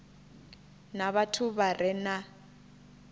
na vhathu vha re na